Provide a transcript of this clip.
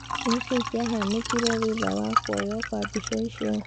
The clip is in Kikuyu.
Nĩkĩĩ kiahanĩkirĩ thutha wa kuoyuo kwa mbica icio